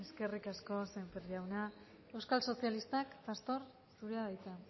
eskerrik asko sémper jauna euskal sozialistak pastor zurea da hitza